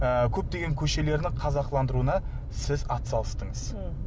ы көптеген көшелердің қазақыландыруына сіз атсалыстыңыз мхм